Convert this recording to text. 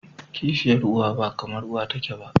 kishiyar uwa ba kamar uwa take ba.